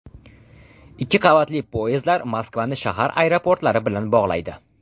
Ikki qavatli poyezdlar Moskvani shahar aeroportlari bilan bog‘laydi.